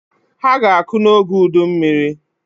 Ha ga-akụ n'oge udummiri.